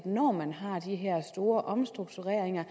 når man har de her store omstruktureringer